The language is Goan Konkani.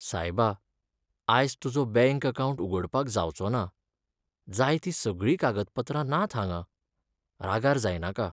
सायबा, आयज तुजो बँक अकावंट उगडपाक जावचो ना. जाय तीं सगळीं कागदपत्रां नात हांगां. रागार जायनाका.